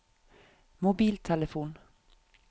mobiltelefon